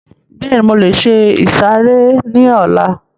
Bẹ́ẹ̀ni, mo lè se ìsàrẹ́ ní ọlá